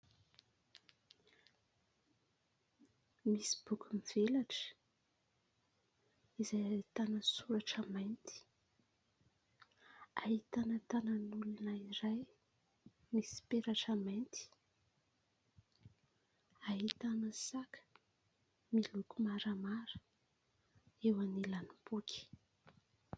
Misy boky mivelatra izay ahitana soratra mainty. Ahitana tanan'olona iray misy peratra mainty, ahitana saka miloko maramara eo anilan'ny boky.